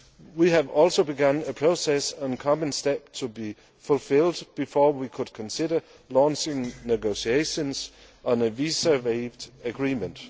We have also begun a process on common steps to be fulfilled before we could consider launching negotiations on a visa waiver agreement.